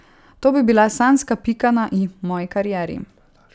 To bi bila sanjska pika na i moji karieri.